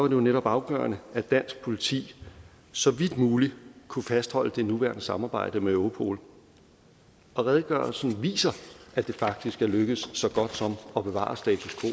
jo netop afgørende at dansk politi så vidt muligt kunne fastholde det nuværende samarbejde med europol og redegørelsen viser at det faktisk er lykkedes så godt som at bevare status